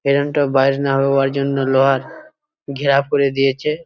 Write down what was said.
এখানটা বাজনা হওয়ার জন্য লোহার ঘেরা করে দিয়েছে।